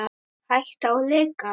Hætta á leka?